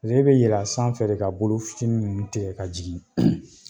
pasek'e be yɛlɛ a sanfɛ de ka bolo fitini ninnu tigɛ ka jigin